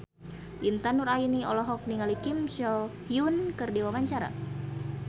Intan Nuraini olohok ningali Kim So Hyun keur diwawancara